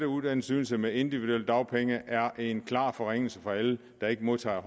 uddannelsesydelse med individuelle dagpenge er en klar forringelse for alle der ikke modtager